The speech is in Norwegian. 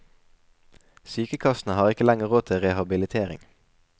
Sykekassene har ikke lenger råd til rehabilitering.